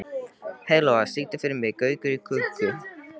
Heiðlóa, syngdu fyrir mig „Gaukur í klukku“.